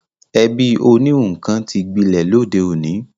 Ẹ̀bí oníhun kan ti gbilẹ̀ lóde òní